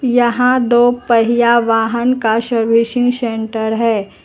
यहां दो पहिया वाहन का सर्विसिंग सेंटर है।